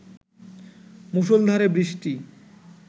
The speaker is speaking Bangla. মুষলধারে বৃষ্টি